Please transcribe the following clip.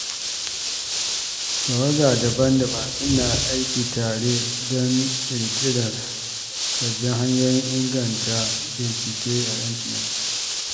Tawaga daban-daban suna aiki tare don ƙirƙirar sabbin hanyoyin inganta bincike a Intanet.